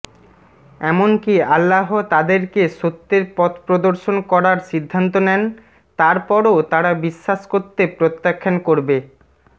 এমনকি আল্লাহ তাদেরকে সত্যের পথপ্রদর্শন করার সিদ্ধান্ত নেন তারপরও তারা বিশ্বাস করতে প্রত্যাখান করবেঃ